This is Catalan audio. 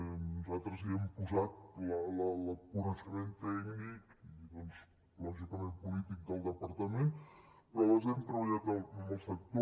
nosaltres hi hem posat coneixement tècnic i doncs lògicament polític del departament però les hem treballat amb el sector